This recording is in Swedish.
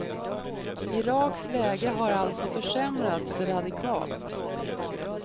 Iraks läge har alltså försämrats radikalt.